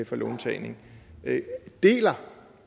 for låntagning deler